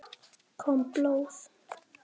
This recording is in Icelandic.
Kom blóð?